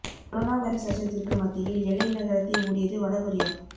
corona virus அச்சத்திற்கு மத்தியில் எல்லை நகரத்தை மூடியது வட கொரியா